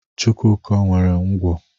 Chukwuka nwere ngwá.